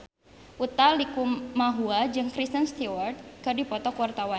Utha Likumahua jeung Kristen Stewart keur dipoto ku wartawan